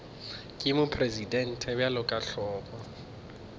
ke mopresidente bjalo ka hlogo